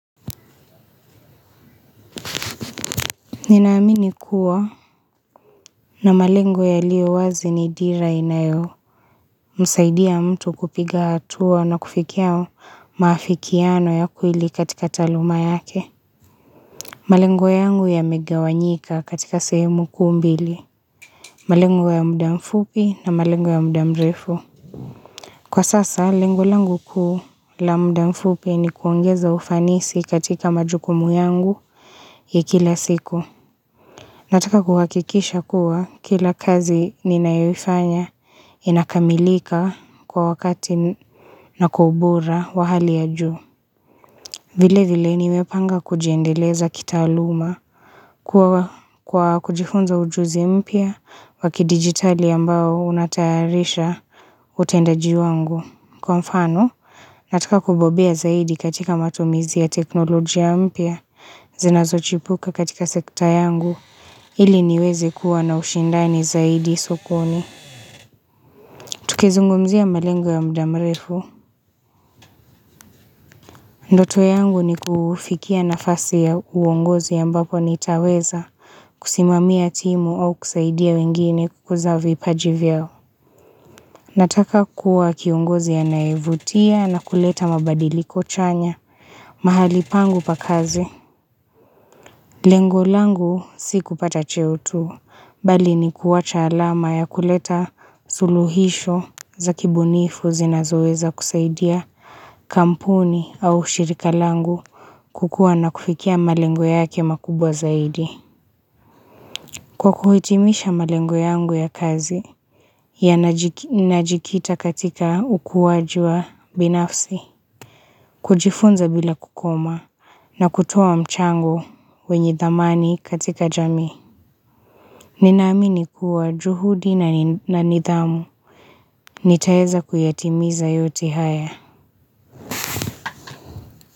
Ninaamini kuwa na malengo yaliyo wazi ni dira inayomsaidia mtu kupiga hatua na kufikia maafikiano ya kweli katika taaluma yake. Malengo yangu yamegawanyika katika sehemu kuu mbili: malengo ya muda mfupi na malengo ya muda mrefu. Kwa sasa, lengolangu kuu la muda mfupi ni kuongeza ufanisi katika majukumu yangu ya kila siku. Nataka kuhakikisha kuwa kila kazi ninayoifanya inakamilika kwa wakati na kwa ubora wa hali ya juu. Vile vile nimepanga kujiendeleza kitaaluma kwa kujifunza ujuzi mpya wa kidigitali ambao unatayarisha utendajiwangu. Kwa mfano, nataka kubobea zaidi katika matumizi ya teknolojia mpya, zinazochipuka katika sekta yangu, ili niweze kuwa na ushindani zaidi sokoni. Tukizungumzia malengo ya mdamrefu. Ndoto yangu ni kufikia nafasi ya uongozi ambapo nitaweza kusimamia timu au kusaidia wengine kukuza vipaji vyao. Nataka kuwa kiongozi anaevutia na kuleta mabadiliko chanya mahali pangu pa kazi. Lengo langu si kupata cheo tu, bali ni kuwacha alama ya kuleta suluhisho za kibunifu zinazoweza kusaidia kampuni au ushirika langu kukua na kufikia malengo yake makubwa zaidi. Kwa kuhitimisha malengo yangu ya kazi, yanajikita katika ukuaji wa binafsi, kujifunza bila kukoma, na kutoa mchango wenye thamani katika jamii. Ninaamini kuwa juhudi na nidhamu, nitaeza kuyatimiza yote haya.